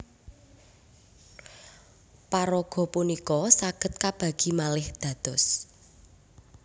Paraga punika saged kabagi malih dados